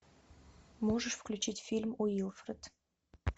можешь включить фильм уилфред